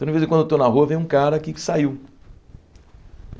Toda vez enquanto eu estou na rua, vem um cara aqui que saiu.